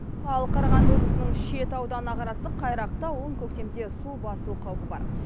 ал қарағанды облысының шет ауданына қарасты қайрақты ауылын көктемде су басу қауіпі бар